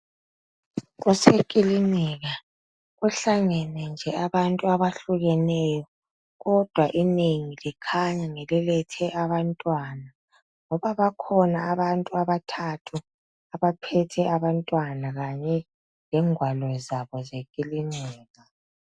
Kusekilinika kuhlangene nje abantu abahlukeneyo kodwa inengi likhanya ngelilethe abantwana ngoba bakhona abantu abathathu abaphethe abantwana kanye nengwalo zabo zekilinika.